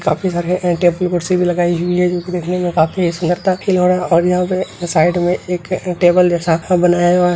काफी सारी लगाई हुई है जो की देखने में काफी सुंदरता की और यहां पे साइड में एक टेबल जैसा बनाया हुआ --